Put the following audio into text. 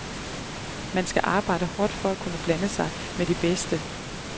Man skal arbejde hårdt for at kunne blande sig med de bedste.